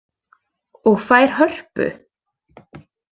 Og fær hörpu?